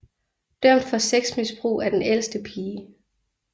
Dømt for sexmisbrug af den ældste pige